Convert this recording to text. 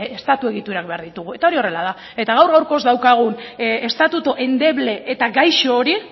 estatu egiturak behar ditugu eta hori horrela da eta gaur gaurkoz daukagun estatutu endeble eta gaixo hori